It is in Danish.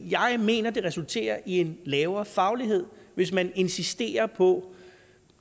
jeg mener det resulterer i en lavere faglighed hvis man insisterer på